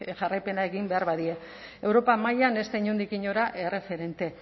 jarraipena egin behar badie europa mailan ez da inondik inora erreferente